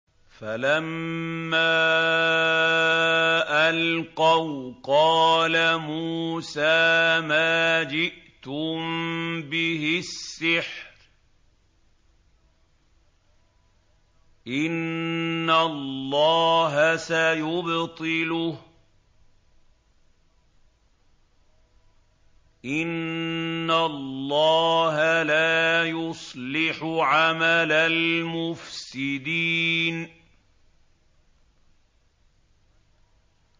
فَلَمَّا أَلْقَوْا قَالَ مُوسَىٰ مَا جِئْتُم بِهِ السِّحْرُ ۖ إِنَّ اللَّهَ سَيُبْطِلُهُ ۖ إِنَّ اللَّهَ لَا يُصْلِحُ عَمَلَ الْمُفْسِدِينَ